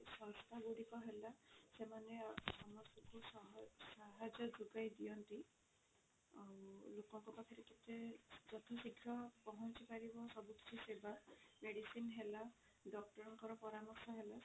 ସଂସ୍ଥା ଗୁଡିକ ହେଲା ସେମାନେ ସମସ୍ତଙ୍କୁ ସହଜ ସାହାଯ୍ୟ ଯୋଗାଇ ଦିଅନ୍ତି ଆଉ ଲୋକଙ୍କ ପାଖରେ କେତେ ଯଥା ଶ୍ରୀଘ୍ର ପହଞ୍ଚି ପାରିବ ସବୁ କିଛି ସେବା medicine ହେଲା doctor ଙ୍କର ପରାମର୍ଶ ହେଲା